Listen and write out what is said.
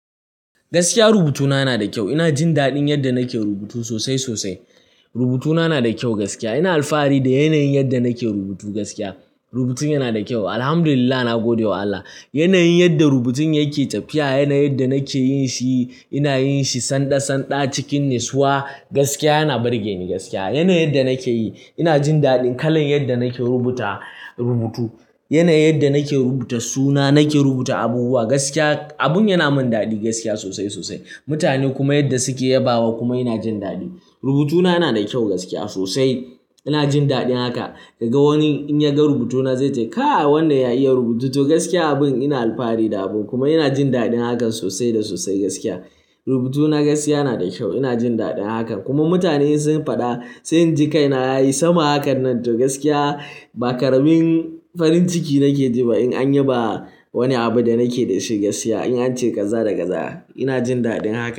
Gaskiya rubutuna yana da kyau. Ina jin daɗin yadda nake rubutu sosai sosai. Rubutuna yana da kyau gaskiya. Ina alfahari da yanayin yadda nake rubutu gaskiya. Rubutun yana da kyau. Alhamdulillah, na gode wa Allah. Yanayin yadda rubutun yake tafiya, yanayin yadda nake yin shi, ina yin shi sanɗa-sanɗa cikin natsuwa. Gaskiya yana burge ni gaskiya. Yanayin yadda nake yi, ina jin daɗin kalan yadda nake rubuta rubutu. Yanayin yadda nake rubuta suna, nake rubuta abubuwa, gaskiya abin yana min daɗi gaskiya sosai sosai. Mutane kuma yadda suke yabawa kuma ina jin daɗi. Rubutuna yana da kyau gaskiya sosai. Ina jin daɗin haka. Ka ga wani in ya ga rubutuna zai ce, "Kai wannan ya iya rubutu to." Gaskiya abin ina alfahari da abun kuma ina jin daɗin hakan sosai da sosai gaskiya. Rubutuna gaskiya yana da kyau. Ina jin daɗin hakan. Kuma mutane sun faɗa, sai in ji kai na yayi sama hakan nan to gaskiya ba karamin farin ciki nake ji ba in an yaba wani abu da nake da shi gaskiya. In an ce kaza da kaza, ina jin daɗin hakan.